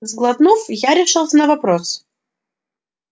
сглотнув я решился на вопрос